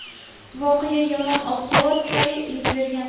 Voqea yomon ob-havo tufayli yuz bergan.